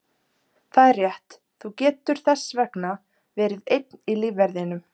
Það er rétt, þú getur þess vegna verið einn í lífverðinum.